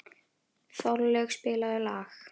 Þorlaug, spilaðu lag.